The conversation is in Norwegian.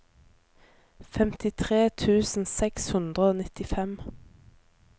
femtitre tusen seks hundre og nittifem